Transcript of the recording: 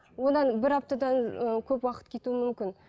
одан бір аптадан ііі көп уақыт кетуі мүмкін